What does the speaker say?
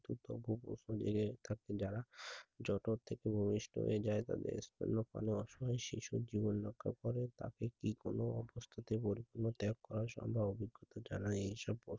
থাকতো যারা জঠর থেকে ভুমিষ্ট যারা তাদের জন্য কোনো অসহায় শিশুর জীবন রক্ষা করে তাকে কি কোনো অবস্থাতেই বৈরাগ্য ত্যাগ করা সম্ভব অভিজ্ঞতা ছাড়া